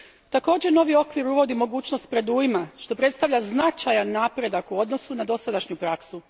Također, novi okvir uvodi mogućnost predujma, što predstavlja značajan napredak u odnosu na dosadašnju praksu.